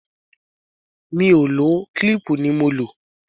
Mi ò lò ó, kílíìpù ni mo lò.